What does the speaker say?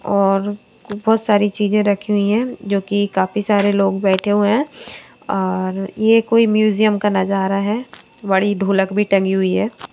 और बहुत सारी चीजें रखी हुई हैं जो कि काफी सारे लोग बैठे हुए हैं और ये कोई म्यूजियम का नजारा है बड़ी ढोलक भी टंगी हुई है।